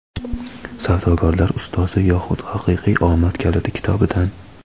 "Savdogarlar ustozi yoxud haqiqiy omad kaliti" kitobidan.